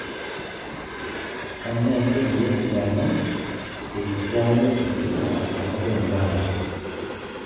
Kanyio eesi peyie esidanu esiainositima tenkop e Uganda